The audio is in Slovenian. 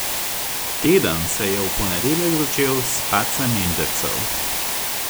Teden se je v ponedeljek začel s padcem indeksov.